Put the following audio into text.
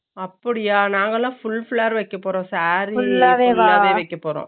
அப்பிடியா நாங்க எல்லா full flar வைக்கப்போறோம் saree வைக்கப்போறோம்